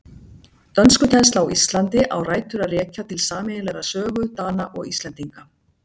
Dönskukennsla á Íslandi á rætur að rekja til sameiginlegrar sögu Dana og Íslendinga.